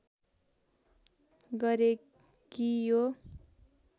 गरे कि यो